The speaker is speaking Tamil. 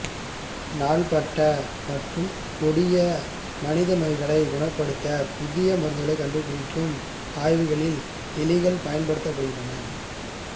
நாள்பட்ட மற்றும் கொடிய மனித நோய்களைக் குணப்படுத்த புதிய மருந்துகளைக் கண்டுபிடிக்கும் ஆய்வுகளில் எலிகள் பயன்படுத்தப்படுகின்றன